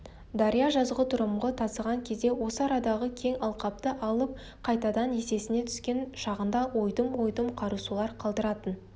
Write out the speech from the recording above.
дария жазғытұрымғы тасыған кезде осы арадағы кең алқапты алып қайтадан есесіне түскен шағында ойдым-ойдым қарасулар қалдыратын